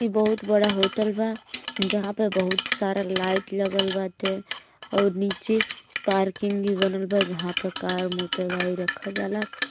ई बहोत बड़ा होटल बा। जहां पे बहोत सारा लाइट लगलबाटे आउर नीचे पार्किंग भी बनल बा जहां पे कार मोटर गाड़ी रखल जाला।